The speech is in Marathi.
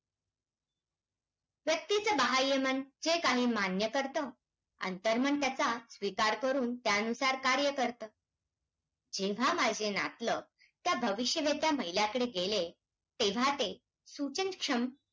वेगळ्या टप्प्यावर आहेत आणि त्याच्यात अनेक